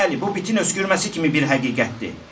Bəli, bu bitin öskürməsi kimi bir həqiqətdir.